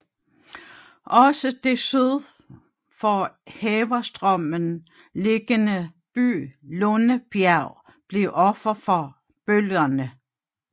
Også den syd for Heverstrømmen liggende by Lundebjerg blev offer for bølgerne